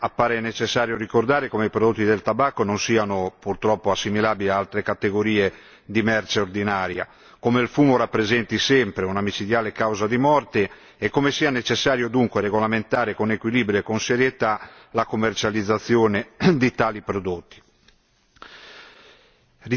Nell'affrontare questa discussione appare necessario ricordare come i prodotti del tabacco non siano purtroppo assimilabili ad altre categorie di merce ordinaria, come il fumo rappresenti sempre una micidiale causa di morte e come sia necessario dunque regolamentare con equilibrio e con serietà la commercializzazione di tali prodotti.